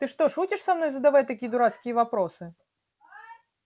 ты что шутишь со мной задавая такие дурацкие вопросы